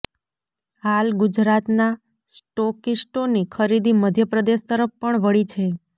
હાલ ગુજરાતનાં સ્ટોકિસ્ટોની ખરીદી મધ્યપ્રદેશ તરફ પણ વળી છે